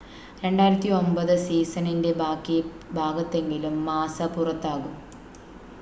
2009 സീസണിൻ്റെ ബാക്കി ഭാഗത്തിലെങ്കിലും മാസ്സ പുറത്താകും